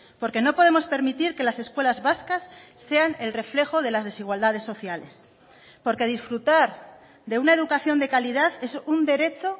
porque no podemos permitir que las escuelas vascas sean el reflejo de las desigualdades sociales porque disfrutar de una educación de calidad es un derecho